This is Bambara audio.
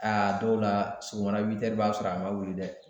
Aa a dɔw la sɔgɔmada witɛri b'a sɔrɔ a ma wuli dɛ